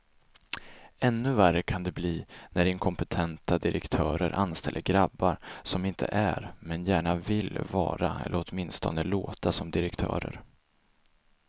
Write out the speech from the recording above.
Ännu värre kan det bli när inkompetenta direktörer anställer grabbar som inte är, men gärna vill vara eller åtminstone låta som direktörer.